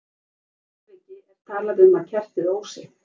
Í því tilviki er talað um að kertið ósi.